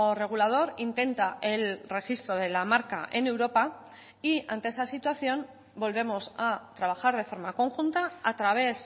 regulador intenta el registro de la marca en europa y ante esa situación volvemos a trabajar de forma conjunta a través